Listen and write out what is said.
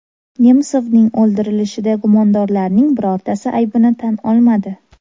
Nemsovning o‘ldirilishida gumondorlarning birortasi aybini tan olmadi.